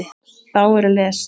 Þá er lesið